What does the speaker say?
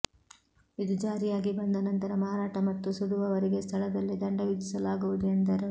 ಇದು ಜಾರಿಯಾಗಿ ಬಂದ ನಂತರ ಮಾರಾಟ ಮತ್ತು ಸುಡುವವರಿಗೆ ಸ್ಥಳದಲ್ಲೇ ದಂಡ ವಿಧಿಸಲಾಗುವುದು ಎಂದರು